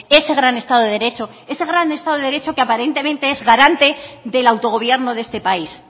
ese gran estado de derecho ese gran estado de derecho que aparentemente es garante del autogobierno de este país